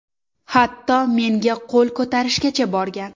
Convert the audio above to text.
Hatto menga qo‘l ko‘tarishgacha borgan.